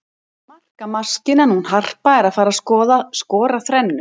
Markamaskínan hún Harpa er að fara skora þrennu.